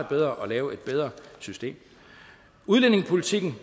bedre at lave et bedre system udlændingepolitikken